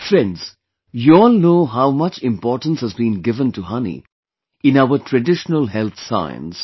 Friends, you all know how much importance has been given to honey in our traditional health science